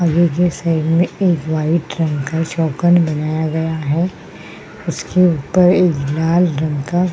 और ये जो साइड में एक वाइट रंग का चौकन बनाया गया है उसके ऊपर एक लाल रंग का --